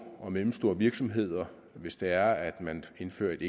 og mellemstore virksomheder hvis det er at man indfører et